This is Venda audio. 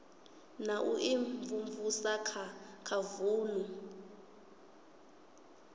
na u imvumvusa kha vunu